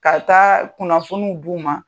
Ka taa kunnafoniw d'u ma